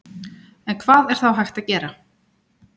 En hvað er þá hægt að gera?